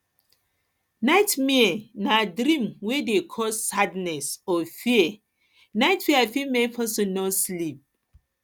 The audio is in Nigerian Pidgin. nightmare na dream wey dey cause sadness or fear nightmare fit make person no sleep